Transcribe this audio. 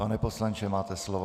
Pane poslanče, máte slovo.